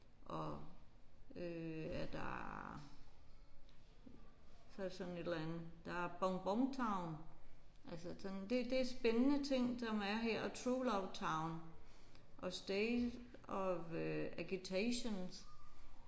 Og øh er der så er der sådan et eller andet. Der er Bonbon Town altså sådan det er det er spændende ting som er her og True Love Town og State of Aggitations